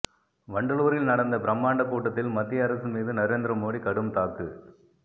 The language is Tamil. வண்டலூரில் நடந்த பிரமாண்ட கூட்டத்தில் மத்திய அரசு மீது நரேந்திரமோடி கடும் தாக்கு